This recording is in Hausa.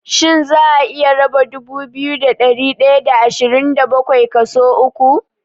Shin za'a iya raba dubu biyu da ɗari ɗaya da ashirin da bakwai kaso uku?